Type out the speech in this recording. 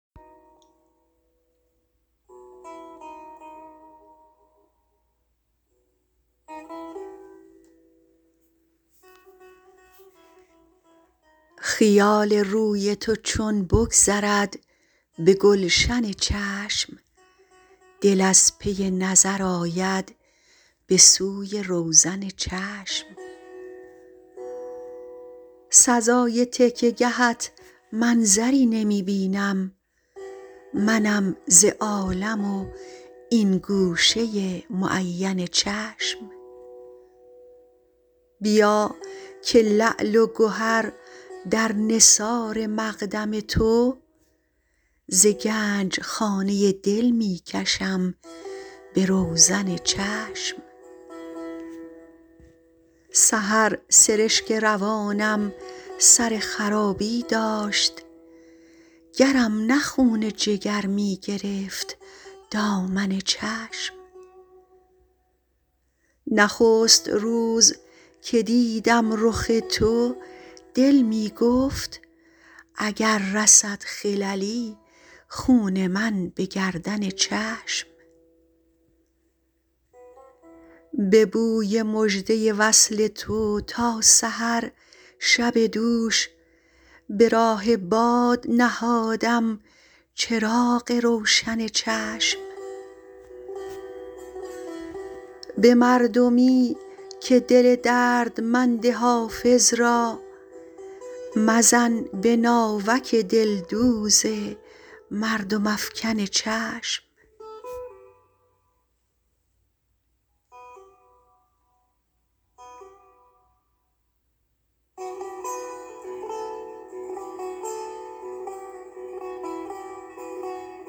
خیال روی تو چون بگذرد به گلشن چشم دل از پی نظر آید به سوی روزن چشم سزای تکیه گهت منظری نمی بینم منم ز عالم و این گوشه معین چشم بیا که لعل و گهر در نثار مقدم تو ز گنج خانه دل می کشم به روزن چشم سحر سرشک روانم سر خرابی داشت گرم نه خون جگر می گرفت دامن چشم نخست روز که دیدم رخ تو دل می گفت اگر رسد خللی خون من به گردن چشم به بوی مژده وصل تو تا سحر شب دوش به راه باد نهادم چراغ روشن چشم به مردمی که دل دردمند حافظ را مزن به ناوک دلدوز مردم افکن چشم